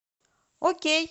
окей